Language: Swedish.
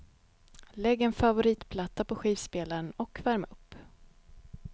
Lägg en favoritplatta på skivspelaren och värm upp.